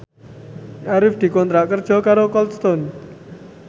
Arif dikontrak kerja karo Cold Stone